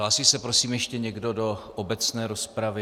Hlásí se prosím ještě někdo do obecné rozpravy?